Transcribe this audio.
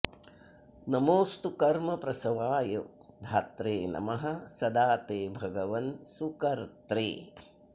नमोऽस्तु कर्मप्रसवाय धात्रे नमः सदा ते भगवन् सुकर्त्रे